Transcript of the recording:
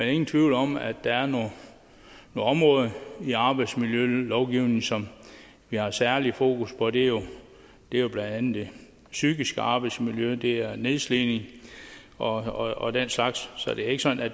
er ingen tvivl om at der er nogle områder i arbejdsmiljølovgivningen som vi har særlig fokus på det er jo blandt andet det psykiske arbejdsmiljø og det er nedslidning og og den slags så det er ikke sådan at